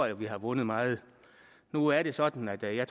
at vi har vundet meget nu er det sådan at jeg